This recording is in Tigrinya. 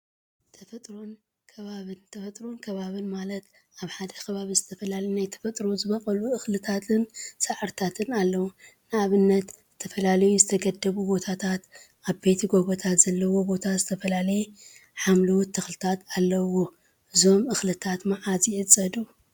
ተፈጥሮን አከባቢን ተፈጥሮን አከባቢን ማለት አብ ሓደ ከባቢ ዝተፈላለዩ ናይ ተፈጥሮ ዝበቀሉ እክሊታን ሳዕሪታትን አለው፡፡ ንአብነት ዝተፈላለዩ ዝተገደቡ ቦታታትን ዓበይቲ ጎቦታት ዘለዎ ቦታ ዝተፈላለዩ ሓምለዎት ተክልታት አለውዎ፡፡ እዞም እክሊታት መዓዝ ይዕፀዱ?